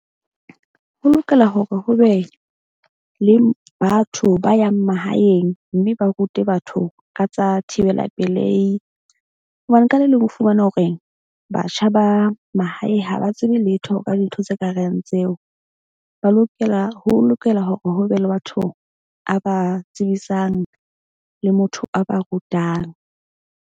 Ho lokela hore ho be le batho ba yang mahaeng. Mme ba rute batho ka tsa thibela pelehi hobane ka le leng o fumana hore batjha ba mahae ha ba tsebe letho ka dintho tse kareng tseo. Ba lokela ho lokela hore ho be le bathong a ba tsebisang le motho a ba rutang.